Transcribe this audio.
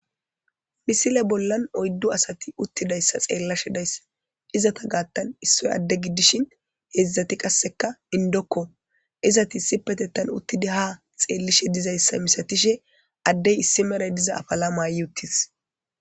misile bollan oyddu asati uttidayssa xeellashe dayssa izata gaattan issoy adde giddishin heedzdzati qasseka indokko izati isi petettan uttida ha xeellishe dizayssa misatishe addey issi mere diza afala maayyi uttis